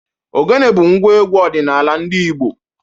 Ogene bụ ngwa egwu ọdịnala ndị Igbo.